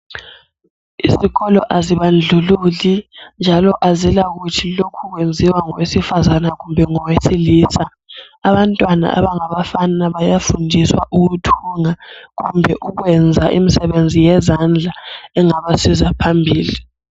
Izikolo azibandlululi njalo azilakuthi lokhu kwenziwa ngowesifazana kumbe ngowesilisa. Abantwana abangabafana bayafundiswa ukuthunga kumbe ukwenza imisebenzi yezandla engabasiza phambili.